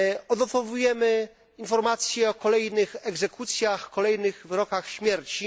Odnotowujemy informację o kolejnych egzekucjach, kolejnych wyrokach śmierci.